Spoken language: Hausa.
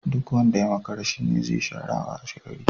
Duk wanda ya makara shi ne zi shara washegari.